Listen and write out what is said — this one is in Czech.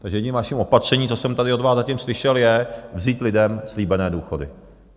Takže jediným vaším opatřením, co jsem tady od vás zatím slyšel, je vzít lidem slíbené důchody.